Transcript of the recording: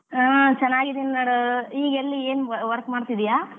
ಹಾ ಚನ್ನಾಗಿದ್ದೀನಿ ನೋಡ್ ಈಗೇಲ್ಲಿ ಏನ್ work ಮಾಡ್ತಿದ್ದೀಯಾ?